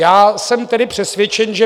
Jsem tedy přesvědčen, že